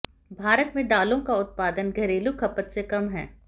भारत में दालों का उत्पादन घरेलू खपत से कम है